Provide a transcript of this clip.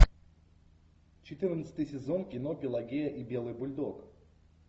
четырнадцатый сезон кино пелагия и белый бульдог